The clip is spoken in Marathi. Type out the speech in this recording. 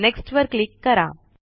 नेक्स्ट वर क्लिक करा